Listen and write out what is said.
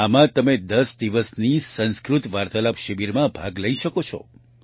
આમાં તમે 10 દિવસની સંસ્કૃત વાર્તાલાપ શિબિરમાં ભાગ લઈ શકો છો